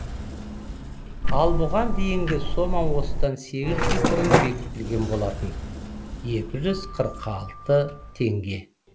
ал бұған дейінгі сома осыдан сегіз жыл бұрын бекітілген болатын екі жүз қырық алты теңге